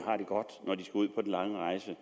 lange rejse